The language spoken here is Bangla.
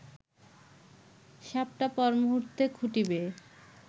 সাপটা পরমুহূর্তে খুঁটি বেয়ে